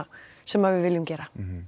sem við viljum gera nú